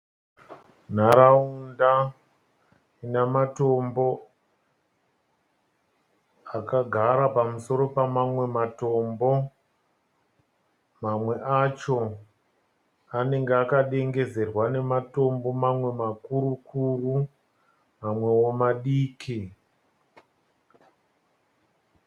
Nharaunda ina matombo akagara pamusoro pamamwe matombo, mamwe acho anenge akadengezerwa nematombo mamwe makuru kuru amwewo madiki.